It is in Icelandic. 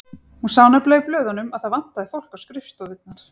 Hún sá nefnilega í blöðunum að það vantaði fólk á skrifstofurnar.